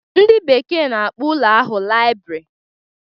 Ndị bekee na-akpọ ụlọ ahụ laịbrị